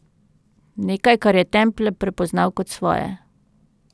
Nekaj, kar je Temple prepoznal kot svoje.